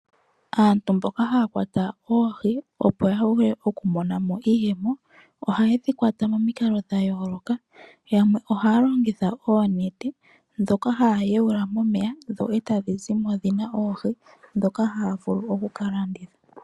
Aantu mboka haya kwata oohi opo ya vule okumona mo iiyemo, ohaye dhi kwata momikalo dha yooloka. Yamwe ohaya longitha oonete dhoka haya yuula momeya, dho tadhi zimo dhi na oohi dhoka haya vulu oku ka landitha.